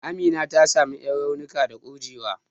Amina ta samu ƴan raunuka ne da kurjewa.